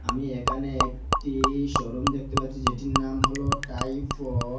আমি এখানে একটি শোরুম দেখতে পাচ্ছি যেটির নাম হলো টাইফড।